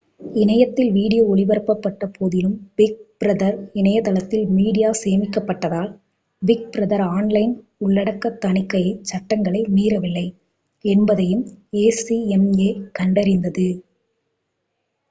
இணையத்தில் வீடியோ ஒளிபரப்பப்பட்டபோதிலும் big brother இணையதளத்தில் மீடியா சேமிக்கப்படாததால் பிக் பிரதர் ஆன்லைன் உள்ளடக்க தணிக்கைச் சட்டங்களை மீறவில்லை என்பதையும் acma கண்டறிந்தது